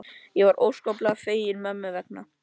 Ég var óskaplega fegin mömmu vegna.